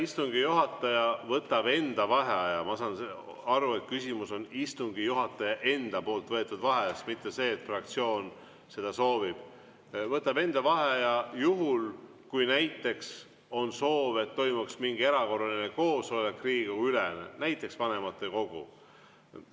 Istungi juhataja võtab enda vaheaja – ma saan aru, et küsimus on istungi juhataja enda võetud vaheajas, mitte selles, et fraktsioon seda soovib – juhul, kui näiteks on soov, et toimuks mingi erakorraline Riigikogu-ülene koosolek, näiteks vanematekogu.